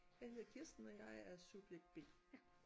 Jeg hedder Kirsten og jeg er subjekt B